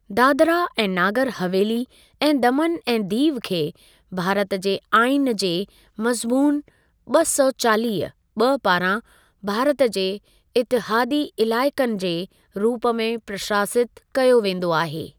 दादरा ऐं नागर हवेली ऐं दमन ऐं दीव खे भारत जे आईनि जे मज़मून ॿ सौ चालीह (ॿ) पारां भारत जे इतिहादी इलाइक़नि जे रूप में प्रशासितु कयो वेंदो आहे।